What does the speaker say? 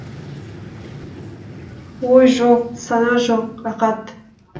ой жоқ сана жоқ рақат